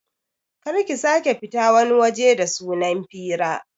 Kar ki sake fita wani waje da sunan fira